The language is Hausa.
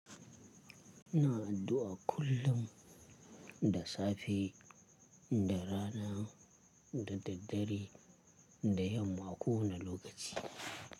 Ina addu'a kullum da safe, da rana, da daddare da yamma ko wani lokaci.